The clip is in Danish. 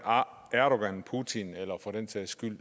erdogan putin eller for den sags skyld